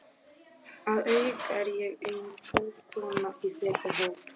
Að auki er ég eina konan í þeirra hópi.